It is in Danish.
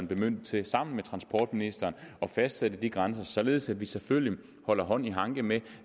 bemyndiget til sammen med transportministeren at fastsætte de grænser således at vi selvfølgelig holder hånd i hanke med